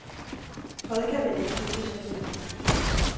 Fred kan man ikke købe sig til.